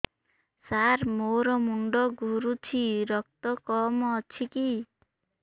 ସାର ମୋର ମୁଣ୍ଡ ଘୁରୁଛି ରକ୍ତ କମ ଅଛି କି